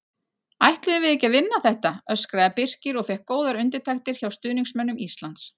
Ætlum við ekki að vinna þetta? öskraði BIrkir og fékk góðar undirtektir hjá stuðningsmönnum Íslands.